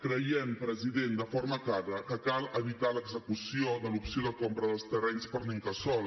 creiem president de forma clara que cal evitar l’execució de l’opció de compra dels terrenys per l’incasòl